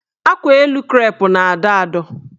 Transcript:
Akwaelu krep na-adọ adọ.